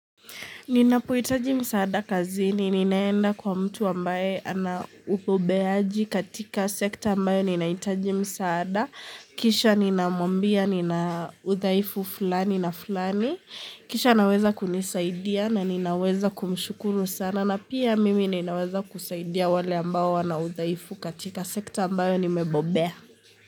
Ninapohitaji msaada kazini, ninaenda kwa mtu ambaye anaupobeaji katika sekta ambayo ninahitaji msaada. Kisha ninamwambia, ninaudhaifu fulani na fulani. Kisha anaweza kunisaidia na ninaweza kumshukuru sana. Na pia mimi ninaweza kusaidia wale ambao wanaudhaifu katika sekta ambayo nimebobea.